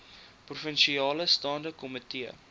provinsiale staande komitee